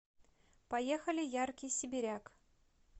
поехали яркий сибиряк